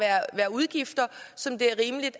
udgifter som det er rimeligt